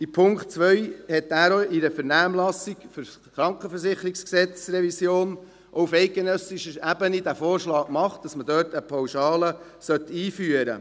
Zu Punkt 2: Der Regierungsrat hat in der Vernehmlassung zur Revision des Bundesgesetzes über die Krankenversicherung (KVG) auf eidgenössischer Ebene den Vorschlag gemacht, eine Pauschale einzuführen.